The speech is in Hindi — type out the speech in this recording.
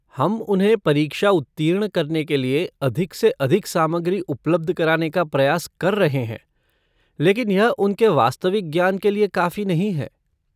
हम उन्हें परीक्षा उत्तीर्ण करने के लिए अधिक से अधिक सामग्री उपलब्ध कराने का प्रयास कर रहे हैं, लेकिन यह उनके वास्तविक ज्ञान के लिए काफी नहीं है।